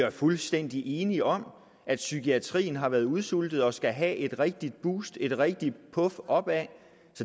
er fuldstændig enige om at psykiatrien har været udsultet og skal have et rigtigt boost et rigtigt puf opad